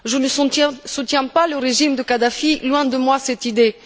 Je ne soutiens pas le régime de Kadhafi, loin de moi cette idée.